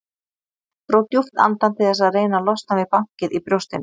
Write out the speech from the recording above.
Dró djúpt andann til þess að reyna að losna við bankið í brjóstinu.